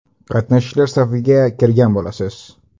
Qatnashchilar safiga kirgan bo‘lasiz.